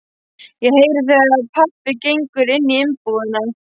Ég heyri þegar pabbi gengur inní íbúðina.